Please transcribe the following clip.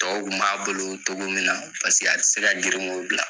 Tɔw kun b'a bolo togo min na paseke a tɛ se ka grin ko bila.